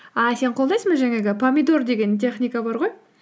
ааа сен қолдайсың ба жаңағы помидор деген техника бар ғой